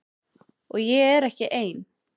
Og ég er ekki ein.